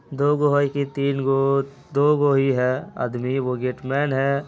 दो गो है कि तीन गो दो गो ही है। आदमी एगो गेटमैन है।